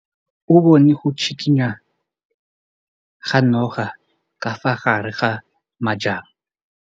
O bone go tshikinya ga noga ka fa gare ga majang.